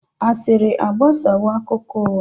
Asịrị agbasawo akụkọ ụgha.